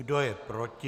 Kdo je proti?